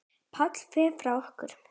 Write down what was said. Páll fer frá okkur.